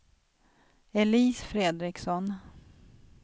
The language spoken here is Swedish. Elise Fredriksson